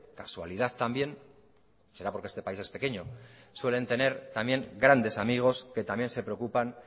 casualidad también será porque este país es pequeño suelen tener también grandes amigos que también se preocupan